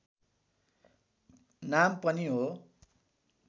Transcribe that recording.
नाम पनि हो